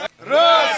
Rusiya!